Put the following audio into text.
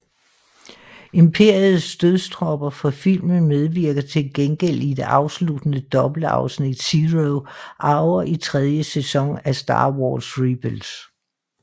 Imperiets dødstropper fra filmen medvirker til gengæld i det afsluttende dobbeltafsnit Zero Hour i tredje sæson af Star Wars Rebels